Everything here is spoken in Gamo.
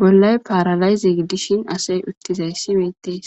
bollay paralayize gidishin asay utizayis betes